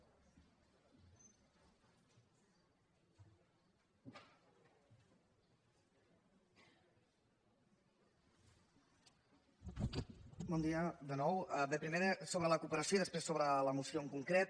primer sobre la cooperació i després sobre la moció en concret